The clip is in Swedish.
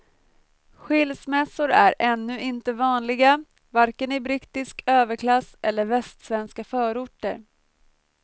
Skilsmässor är ännu inte vanliga, varken i brittisk överklass eller västsvenska förorter.